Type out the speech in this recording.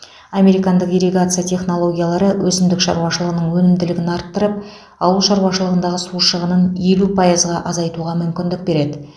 американдық ирригация технологиялары өсімдік шаруашылығының өнімділігін арттырып ауыл шаруашылығындағы су шығынын елу пайызға азайтуға мүмкіндік береді